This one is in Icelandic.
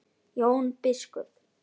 Jón biskup!